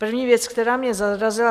První věc, která mě zarazila.